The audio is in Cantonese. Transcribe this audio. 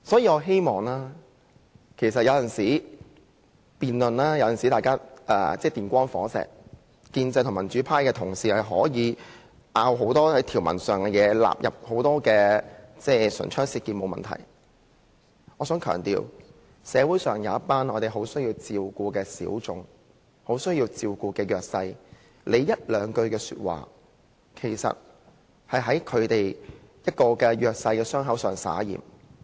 我們的辯論有時候確實是電光火石，建制派與民主派的同事可以就條文有很多爭拗，唇槍舌劍，這並不是問題，但我想強調，對於社會上一群很需要照顧的小眾及弱勢人士，議員一兩句話便已在他們的傷口灑鹽。